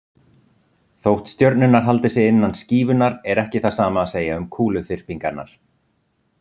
Þótt stjörnurnar haldi sig innan skífunnar er ekki það sama að segja um kúluþyrpingarnar.